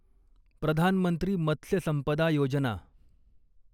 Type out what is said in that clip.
प्रधान मंत्री मत्स्य संपदा योजना